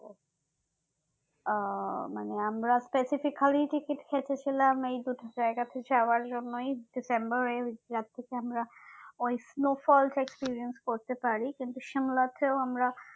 উম মানে আমরা specifically ticket কেটেছিলাম এই দুটো জায়গা তে যাওয়ার জন্যই december যার থেকে আমরা ওই snowfalls তা experience করতে পারি কিন্তু সিমলাতেও আমরা